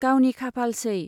गावनि खाफालसै।